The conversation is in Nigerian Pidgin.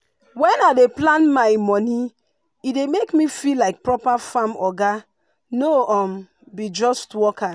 when i dey plan my money e dey make me feel like proper farm oga no be just worker.